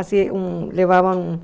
Assim, levavam